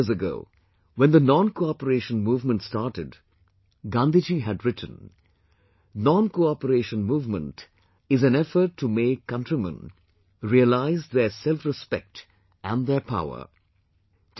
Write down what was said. A hundred years ago when the Noncooperation movement started, Gandhi ji had written "Noncooperation movement is an effort to make countrymen realise their selfrespect and their power"